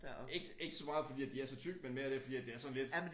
Ikke ikke så meget fordi at de er så tykke men mere det fordi at det er sådan lidt